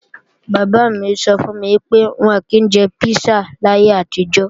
Bàbá mi sọ fún mi pé, wọn ò kí jẹ písà láyé àtijọ́